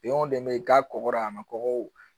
de be k'a kɔkɔ a ma kɔgɔ